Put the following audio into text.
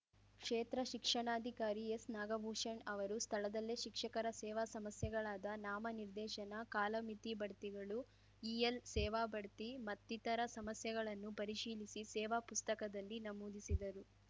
ಕ್ಷೇತ್ರ ಶಿಕ್ಷಣಾಧಿಕಾರಿ ಎಸ್‌ನಾಗಭೂಷಣ್‌ ಅವರು ಸ್ಥಳದಲ್ಲೇ ಶಿಕ್ಷಕರ ಸೇವಾ ಸಮಸ್ಯೆಗಳಾದ ನಾಮನಿರ್ದೇಶನ ಕಾಲಮಿತಿ ಬಡ್ತಿಗಳು ಇಎಲ್‌ ಸೇವಾಬಡ್ತಿ ಮತ್ತಿತರ ಸಮಸ್ಯೆಗಳನ್ನು ಪರಿಶೀಲಿಸಿ ಸೇವಾ ಪುಸ್ತಕದಲ್ಲಿ ನಮೂದಿಸಿದರು